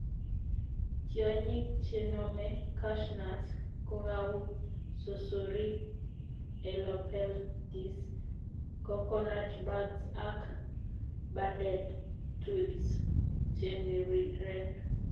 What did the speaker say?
Tiong'ik chenome cashew nut ko kou susurik, helopeltis, coconut bug ak banded thrips cheniriren